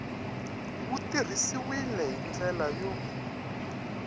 wu tirhisiwile hi ndlela yo